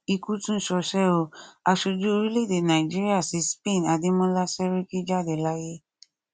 ikú tún ṣọṣẹ o aṣojú orílẹèdè nàíjíríà sí spain adémọlá sẹrìkí jáde láyé